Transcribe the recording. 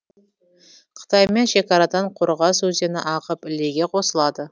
қытаймен шекарадан қорғас өзені ағып ілеге қосылады